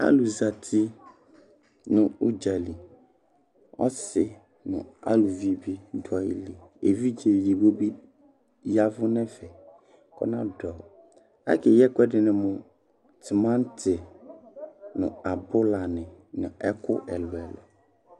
Alʋ zati nʋ udzali Ɔsi nʋ aluvi bi dʋ ayili, evidze edigbo bi yavʋ ŋ'ɛfɛ kʋ ɔna dʋ; akeyi ɛkʋ ɛdini mʋ tʋmati nʋ abʋlani nʋ ɛkʋ ɛlʋ ɛlʋ